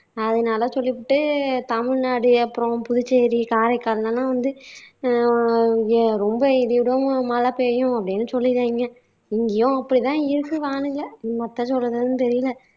அதனால சொல்லிப்புட்டு தமிழ்நாடு அப்பறம் புதுச்சேரி காரைக்காலுல எல்லாம் வந்து அஹ் ரொம்ப இடியுடன் மழை பெய்யும் அப்படின்னு சொல்லியிருக்காங்க, இங்கேயும் அப்படி தான் இருக்கு வானிலை என்னத்த சொல்லுறதுன்னு தெரியல